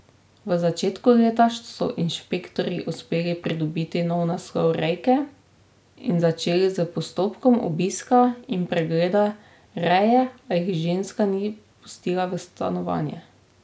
V začetku leta so inšpektorji uspeli pridobiti nov naslov rejke in začeli s postopkom obiska in pregleda reje, a jih ženska ni spustila v stanovanje.